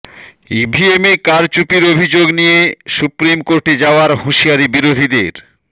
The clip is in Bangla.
ইভিএমে কারচুপির অভিযোগ নিয়ে সুপ্রিম কোর্টে যাওয়ার হুঁশিয়ারি বিরোধীদের